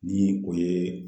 Ni o ye